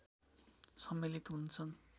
सम्मिलित हुन्छन्